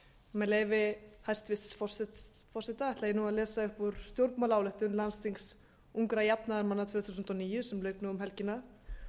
með leyfi hæstvirts forseta ætla ég að lesa upp úr stjórnmálaályktun landsþings ungra jafnaðarmanna tvö þúsund og níu sem lauk um helgina